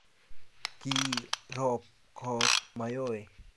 kiroop koot Mayowe